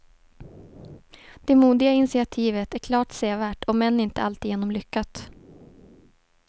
Det modiga initiativet är klart sevärt om än inte alltigenom lyckat.